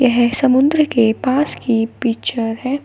यह समुद्र के पास की पिक्चर है।